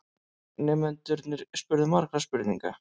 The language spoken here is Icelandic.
Nemendurnir spurðu margra spurninga.